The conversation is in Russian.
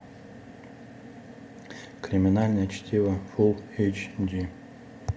криминальное чтиво фул эйч ди